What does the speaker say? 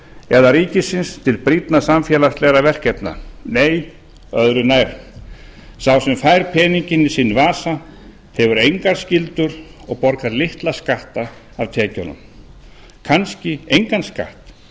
eða ríkisins til brýnna samfélagslegra verkefna nei öðru nær sá sem fær peninginn í sinn vasa hefur engar skyldur og borgar litla skatta af tekjunum kannski engan skatt